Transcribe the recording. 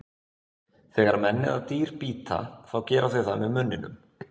Þegar menn eða dýr bíta, þá gera þau það með munninum.